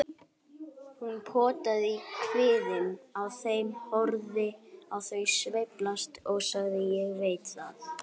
Hún potaði í kviðinn á þeim, horfði á þau sveiflast og sagði: Ég veit það.